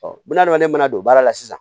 ne mana don baara la sisan